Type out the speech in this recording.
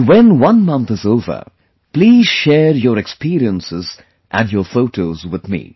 And when one month is over, please share your experiences and your photos with me